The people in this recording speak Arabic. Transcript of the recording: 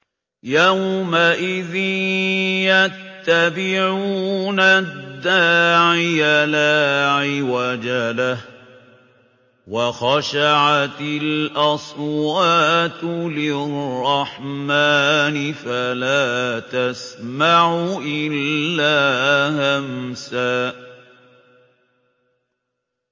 يَوْمَئِذٍ يَتَّبِعُونَ الدَّاعِيَ لَا عِوَجَ لَهُ ۖ وَخَشَعَتِ الْأَصْوَاتُ لِلرَّحْمَٰنِ فَلَا تَسْمَعُ إِلَّا هَمْسًا